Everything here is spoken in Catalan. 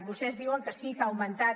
vostès diuen que sí que ha augmentat